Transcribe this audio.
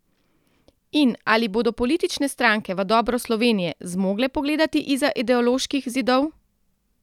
In ali bodo politične stranke v dobro Slovenije zmogle pogledati izza ideoloških zidov?